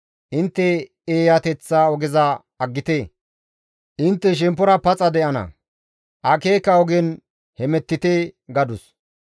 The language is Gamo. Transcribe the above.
Intte eeyateththa ogeza aggite; intte shemppora paxa de7ana; akeeka ogen hemettite» gadus.